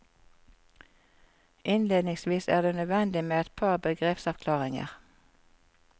Innledningsvis er det nødvendig med et par begrepsavklaringer.